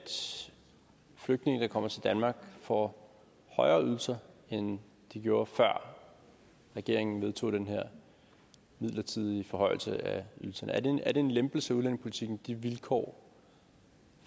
flygtninge der kommer til danmark får højere ydelser end de gjorde før regeringen vedtog den her midlertidige forhøjelse af ydelserne er det en lempelse af udlændingepolitikken med de vilkår